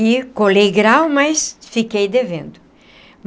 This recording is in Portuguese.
E colei grau, mas fiquei devendo.